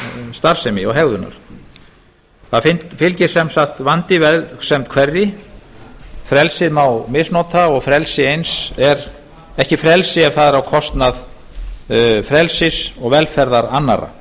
starfsemi eða hegðunar það fylgir sem sagt vandi vegsemd hverri frelsið má misnota og frelsi eins er ekki frelsi ef það er á kostnað frelsis og velferðar annarra